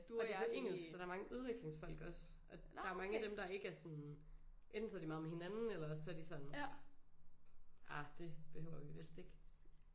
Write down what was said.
Og det på engelsk så der er mange udvekslingsfolk også og der er mange af dem der ikke er sådan enten så er de meget med hinanden eller også så er de sådan ah det behøver vi vist ikke